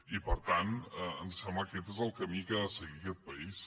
i per tant ens sembla que aquest és el camí que ha de seguir aquest país